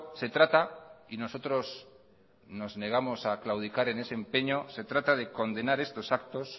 se trata y nosotros nos negamos a claudicar en ese empeño se trata de condenar estos actos